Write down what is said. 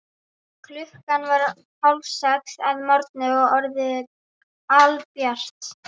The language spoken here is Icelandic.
Klukkan var hálfsex að morgni og orðið albjart.